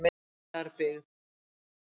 Lindarbyggð